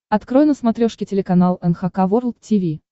открой на смотрешке телеканал эн эйч кей волд ти ви